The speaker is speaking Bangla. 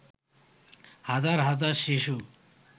হাজার হাজার শিশু